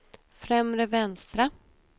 främre vänstra